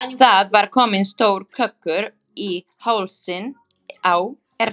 Það var kominn stór kökkur í hálsinn á Erni.